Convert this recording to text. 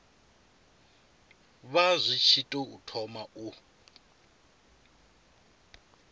vha tshi tou thoma u